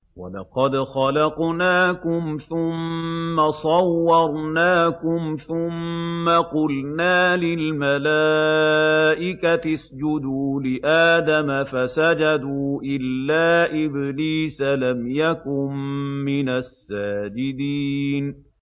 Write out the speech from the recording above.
وَلَقَدْ خَلَقْنَاكُمْ ثُمَّ صَوَّرْنَاكُمْ ثُمَّ قُلْنَا لِلْمَلَائِكَةِ اسْجُدُوا لِآدَمَ فَسَجَدُوا إِلَّا إِبْلِيسَ لَمْ يَكُن مِّنَ السَّاجِدِينَ